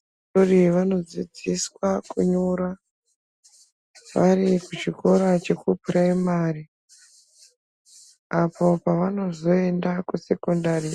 Vana vadoodori vanodzidziswa kunyora vari kuchikora chekupuraimari apo pavanozoende kusekondari